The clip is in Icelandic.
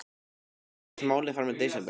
Enn dregst málið fram í desember.